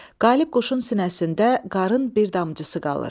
Qalib quşun sinəsində qarın bir damcısı qalır.